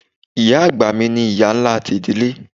Iya àgbà mi ni iya ńlá ti idile.